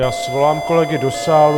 Já svolám kolegy do sálu.